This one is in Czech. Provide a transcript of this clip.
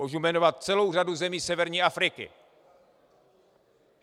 Můžu jmenovat celou řadu zemí severní Afriky.